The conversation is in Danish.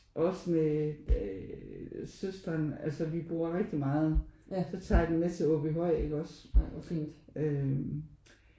Også med øh søsteren altså vi bruger rigtig meget så tager jeg dem med til Aabyhøj ikke også øh